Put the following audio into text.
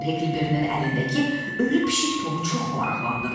Heklberinin əlindəki ölü pişik Tomu çox maraqlandırdı.